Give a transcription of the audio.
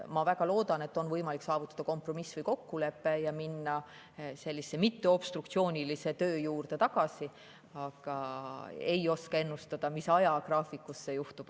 Ma väga loodan, et on võimalik saavutada kompromiss või kokkulepe ja minna sellise mitteobstruktsioonilise töö juurde tagasi, aga ma ei oska ennustada, millise ajagraafiku järgi see juhtub.